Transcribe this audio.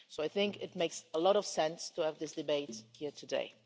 So it makes a lot of sense to have this debate here today.